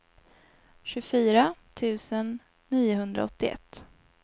tjugofyra tusen niohundraåttioett